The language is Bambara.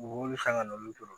Mɔgɔw bɛ san ka na olu jɔyɔrɔ